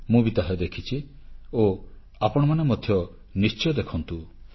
ମୁଁ ବି ତାହା ଦେଖିଛି ଓ ଆପଣମାନେ ମଧ୍ୟ ନିଶ୍ଚୟ ଦେଖନ୍ତୁ